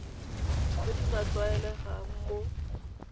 tse di sa tlwaelegang mo